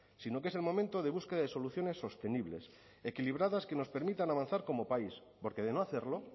sino que es el momento de búsqueda de soluciones sostenibles equilibradas que nos permitan avanzar como país porque de no hacerlo